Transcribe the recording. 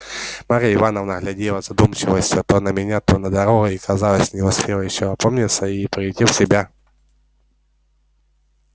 марья ивановна глядела с задумчивостию то на меня то на дорогу и казалось не успела ещё опомниться и прийти в себя